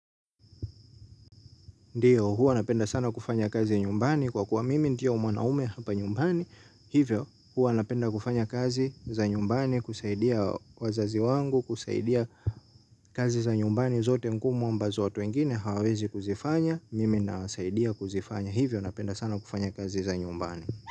Ndiyo huwa napenda sana kufanya kazi nyumbani kwa kuwa mimi ndiye mwanaume hapa nyumbani hivyo huwa napenda kufanya kazi za nyumbani kusaidia wazazi wangu kusaidia kazi za nyumbani zote ngumu ambazo watu wengine hawawezi kuzifanya mimi nawasaidia kuzifanya hivyo napenda sana kufanya kazi za nyumbani.